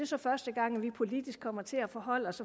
så første gang vi politisk kommer til at forholde os